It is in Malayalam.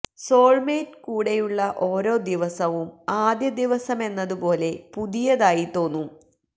സോൾമേറ്റ് കൂടെയുള്ള ഓരോ ദിവസവും ആദ്യ ദിവസമെന്നതു പോലെ പുതിയതായി തോന്നും